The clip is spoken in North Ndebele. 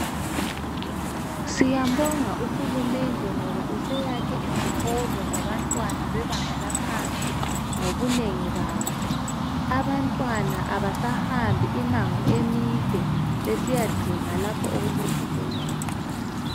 Siyambonga uHulumende ngoba useyakhe izikolo zabantwana bebanga laphansi ngobunengi bazo. Abantwana abasahambi imango emide besiyadinga lapho okulezikolo khona.